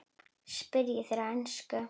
spyrja þeir á ensku.